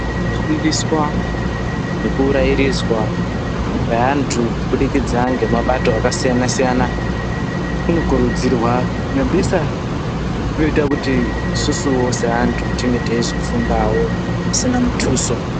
Kufundiswa nekurairidzwa kweeantu kubudikidza ngemabato akasiyana siyana kunokuridzirwa nyambisa kutoita kuti isusuwo seantu tinge teizofundawo zvisina mutuso.